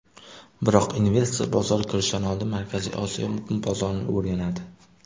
Biroq, investor bozorga kirishdan oldin Markaziy Osiyo bozorini o‘rganadi.